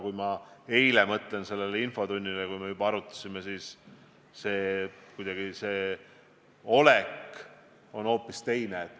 Kui ma mõtlen sellele eilsele infotunnile, kui me seda teemat arutasime, siis kuidagi see olek on hoopis teine.